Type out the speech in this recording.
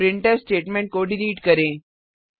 printf statement को delete करें